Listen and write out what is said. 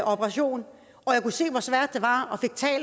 operation og jeg kunne se hvor svært det var